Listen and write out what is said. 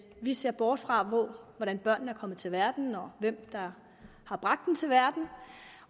vi ser bort fra hvordan børnene er kommet til verden og hvem der har bragt dem til verden